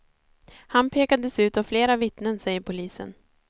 Han pekades ut av flera vittnen, säger polisen.